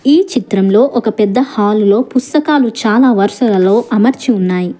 ఈ చిత్రంలో ఒక పెద్ద హాలు లో పుస్తకాలు చాలా వరుసలలో అమర్చి ఉన్నాయి.